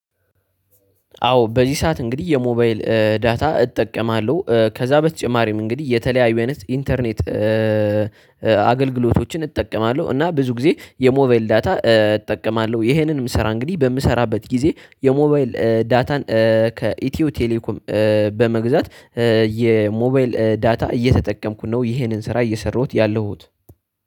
አዎ በዚህ ሰዓት እንግዲህ የሞባይል ዳታ እጠቀማለሁ ከዛ በተጨማሪም እንግዲህ የተለያዩ አይነት ኢንተርኔት አገልግሎቶችን እጠቀማለሁ። እና ብዙ ጊዜ የሞባይል ዳታ እጠቀማለሁ። ይሄንንም ስራ እንግዲህ በምሰራበት ጊዜ የሞባይል ዳታን ከኢትዮ ቴሌኮም በመግዛት የሞባይል ዳታ እየተጠቀምኩ ነው። ይሄንን ስራ እየሰራሁት ያለሁት